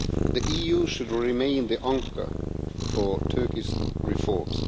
The EU should remain the anchor for Turkey's reforms.